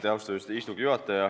Austatud istungi juhataja!